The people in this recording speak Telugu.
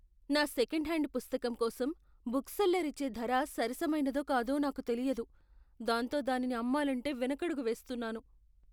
నా సెకండ్ హ్యాండ్ పుస్తకం కోసం బుక్ సెల్లర్ ఇచ్చే ధర సరసమైనదో కాదో నాకు తెలియదు, దాంతో దానిని అమ్మాలంటే వెనకడుగు వేస్తున్నాను.